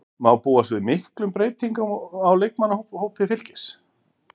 Má búast við miklum breytingum á leikmannahópi Fylkis?